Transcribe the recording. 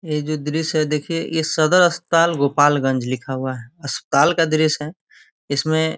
ये जो दृश्य है देखिए ये सदर अस्पताल गोपालगंज लिखा हुआ है अस्पताल का दृश्य है इसमें --